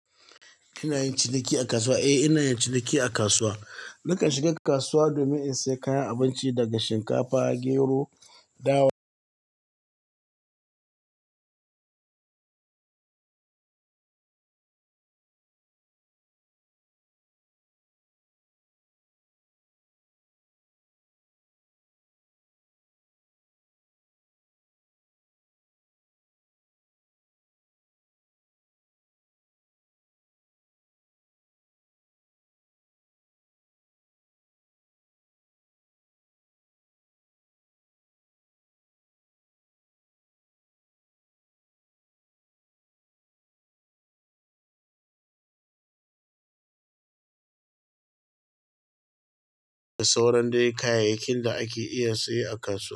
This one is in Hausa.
Ina yin ciniki a kasuwa? Eh ina yin ciniki a kasuwa. Nakan shiga kasuwa domin in sayi kayan abinci daga shinkafa, gero, dawa, da sauran day kayayyakin da ake iya siye a kasuwa.